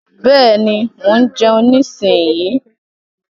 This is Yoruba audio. Bẹ́ẹ̀ni, mo ń jeun nísinyí.